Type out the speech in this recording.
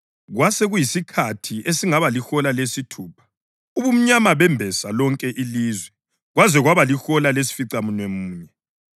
Kwasekuyisikhathi esingaba lihola lesithupha, ubumnyama bembesa lonke ilizwe kwaze kwaba lihola lesificamunwemunye,